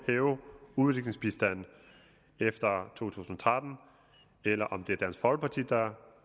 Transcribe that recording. hæve udviklingsbistanden efter to tusind og tretten eller om det er dansk folkeparti der